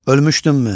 Ölmüşdünmü?